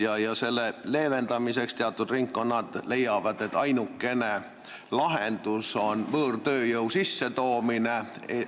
Teatud ringkonnad leiavad, et selle leevendamiseks on ainukene lahendus võõrtööjõu sissetoomine.